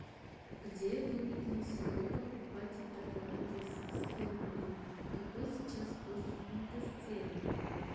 где выгоднее всего покупать и продавать российские рубли какой сейчас курс фунта стерлинга